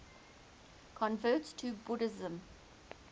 converts to buddhism